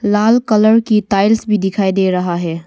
लाल colour की tiles भी दिखाई दे रहा है।